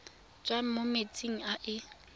tswang mo metsing a e